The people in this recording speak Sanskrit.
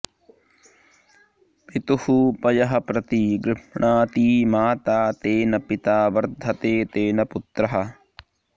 पितुः पयः प्रति गृभ्णाति माता तेन पिता वर्धते तेन पुत्रः